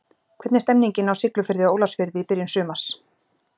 Hvernig er stemmingin á Siglufirði og Ólafsfirði í byrjun sumars?